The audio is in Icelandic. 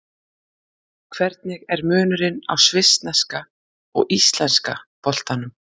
Hvernig er munurinn á svissneska og íslenska boltanum?